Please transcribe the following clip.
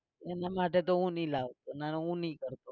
એના માટે તો હું નહીં લાવતો ના ના હું નહીં કરતો.